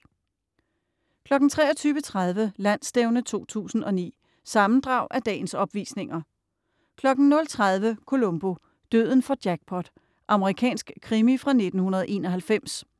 23.30 Landsstævne 2009. Sammendrag af dagens opvisninger 00.30 Columbo: Døden får jackpot. Amerikansk krimi fra 1991